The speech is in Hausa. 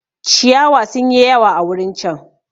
Ciyawa sun yi yawa a wurin chan.